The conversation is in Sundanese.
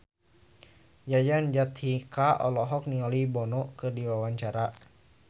Yayan Jatnika olohok ningali Bono keur diwawancara